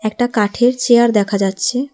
একটা কাঠের চেয়ার দেখা যাচ্ছে।